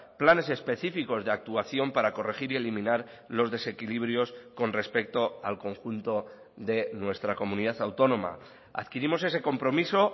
planes específicos de actuación para corregir y eliminar los desequilibrios con respecto al conjunto de nuestra comunidad autónoma adquirimos ese compromiso